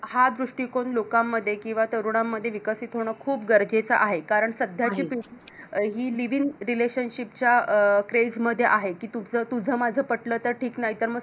हा दृष्टीकोन लोकांमध्ये किंवा तरुणांमध्ये विकसित होणं खूप गरजेचं आहे कारण कारण सध्याची पिढी ही Living Relationship च्या अं Craze मध्ये आहे कि तुझ माझ पटलं तर ठीक नाय तर मग सोडून देऊ